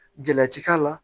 Gɛlati k'a la